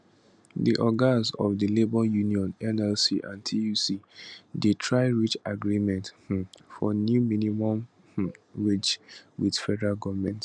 di ogas of di labour unions nlc and tuc dey try reach agreement um for new minimum um wage wit federal goment